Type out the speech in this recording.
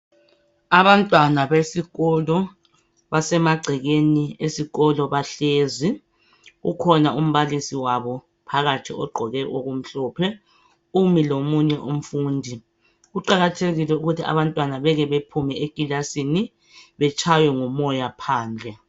Abantwana besikolo. Basemagcekeni esikolo, bahlezi. Ukhona umbalisi wabo. Phakathi ogqoke okumhlophe. Umi lomunye umfundi. Kuqakathekile ukuthi abantwana, beke baphume ekilasini. Betshaywe ngumoya phandle.